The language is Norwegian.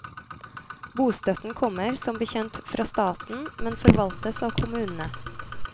Bostøtten kommer, som bekjent, fra staten, men forvaltes av kommunene.